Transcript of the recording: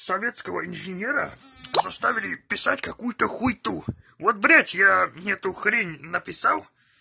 советского инженера заставили писать какую-то хуету вот блять я эту хрень написал